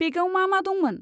बेगाव मा मा दंमोन?